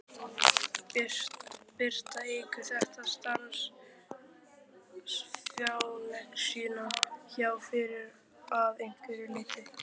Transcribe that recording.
Birta: Eykur þetta starfsánægjuna hjá ykkur að einhverju leyti?